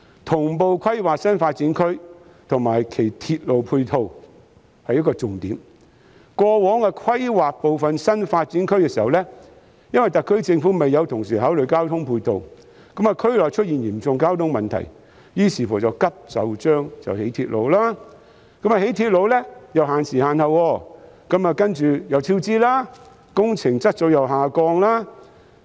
同步規劃新發展區及其鐵路配套是一個重點，過往規劃部分新發展區時，因為特區政府未有同時考慮交通配套，令區內出現嚴重交通問題，於是再急就章興建鐵路，但興建鐵路卻要限時限刻，接着出現超支，工程質素又下降。